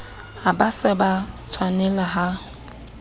ha ba se ba tshwanelaha